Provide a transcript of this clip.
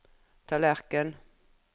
tallerken